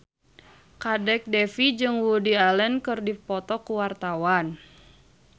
Kadek Devi jeung Woody Allen keur dipoto ku wartawan